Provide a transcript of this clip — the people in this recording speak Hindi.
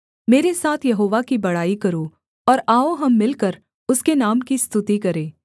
मेरे साथ यहोवा की बड़ाई करो और आओ हम मिलकर उसके नाम की स्तुति करें